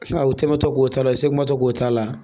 U tɛmɛntɔ k'o t'a la semɔtɔ k'o t'a la